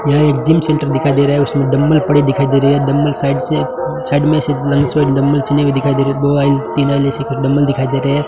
यहां एक gym centre दिखाई दे रहा है उसमें डम्बल पड़े दिखाई दे रहे हैं डंबल साइड से साइड में से डम्बल चले हुए दिखाई दे रहे हैं डम्बल दिखाई दे रहे हैं।